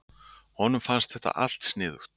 Honum fannst allt sniðugt.